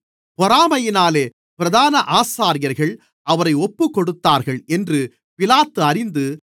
பொறாமையினாலே பிரதான ஆசாரியர்கள் அவரை ஒப்புக்கொடுத்தார்கள் என்று பிலாத்து அறிந்து